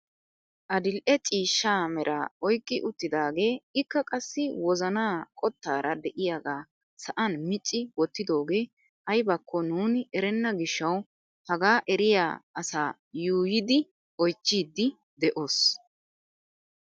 Adil'e ciishsha meraa oyqqi uttidagee ikka qassi wozanaa qottaara de'iyaaga sa'an micci wottidogee aybakko nuuni erenna giishshawu hagaa eriyaa asaa yuuyidi oychchidi de'oos!